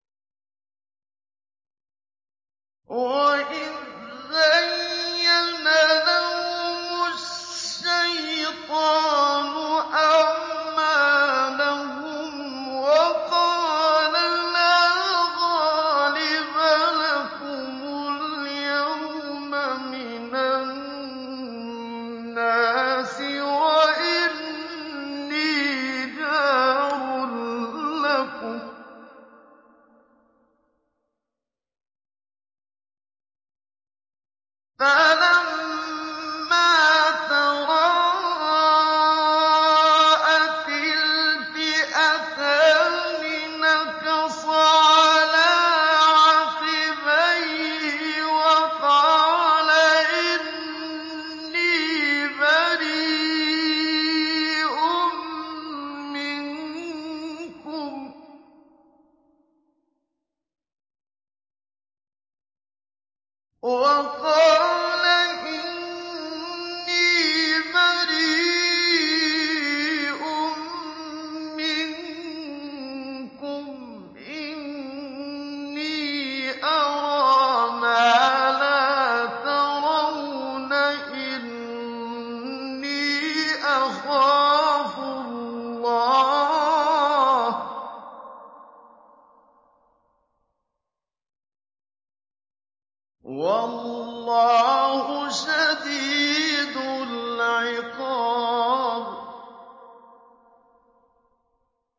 وَإِذْ زَيَّنَ لَهُمُ الشَّيْطَانُ أَعْمَالَهُمْ وَقَالَ لَا غَالِبَ لَكُمُ الْيَوْمَ مِنَ النَّاسِ وَإِنِّي جَارٌ لَّكُمْ ۖ فَلَمَّا تَرَاءَتِ الْفِئَتَانِ نَكَصَ عَلَىٰ عَقِبَيْهِ وَقَالَ إِنِّي بَرِيءٌ مِّنكُمْ إِنِّي أَرَىٰ مَا لَا تَرَوْنَ إِنِّي أَخَافُ اللَّهَ ۚ وَاللَّهُ شَدِيدُ الْعِقَابِ